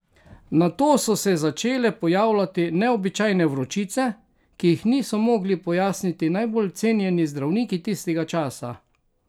Nato so se začele pojavljati neobičajne vročice, ki jih niso mogli pojasniti najbolj cenjeni zdravniki tistega časa.